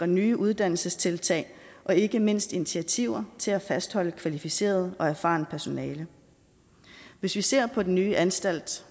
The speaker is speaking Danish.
nye uddannelsestiltag og ikke mindst initiativer til at fastholde kvalificeret og erfarent personale hvis vi ser på den nye anstalt